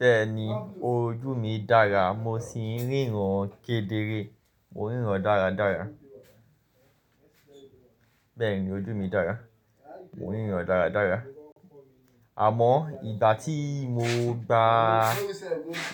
Bẹ́ẹ̀ni, ojú mi dára, mo sì ń ríran kedere, mo ń ríran dáradára. Bẹ́ẹ̀ni ojú mi dára, mo ń ríran dáradára. Àmọ́ ìgbà tí mo gba